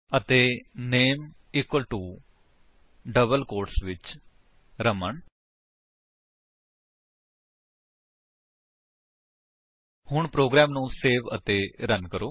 ਅਤੇ name equal to double quotes ਵਿੱਚ ਰਮਨ ਹੁਣ ਪ੍ਰੋਗਰਾਮ ਨੂੰ ਸੇਵ ਅਤੇ ਰਨ ਕਰੋ